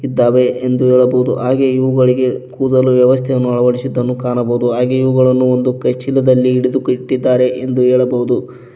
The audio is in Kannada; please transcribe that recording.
ಇದ್ದಾವೆ ಎಂದು ಹೇಳಬಹುದು ಹಾಗೆ ಇವುಗಳಿಗೆ ಕೂದಲು ವ್ಯವಸ್ಥೆಯನ್ನು ಅಳವಡಿಸಿದನ್ನು ಕಾಣಬಹುದು ಹಾಗೆ ಇವುಗಳನ್ನು ಒಂದು ಚೀಲದಲ್ಲಿ ಹಿಡಿದು ಕಟ್ಟಿದ್ದಾರೆ ಎಂದು ಹೇಳಬಹುದು.